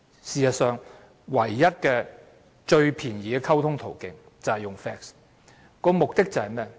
事實上，當時唯一最便宜的溝通途徑就是 fax。